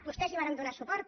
vostès hi varen donar suport